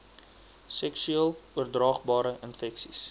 seksueel oordraagbare infeksies